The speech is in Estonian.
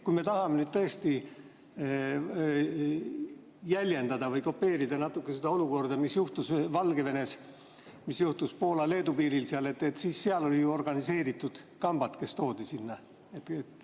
Kui me tahame nüüd tõesti natuke jäljendada või kopeerida seda olukorda, mis juhtus Valgevenes, mis juhtus Poola-Leedu piiril, siis seal olid organiseeritud kambad, kes sinna toodi.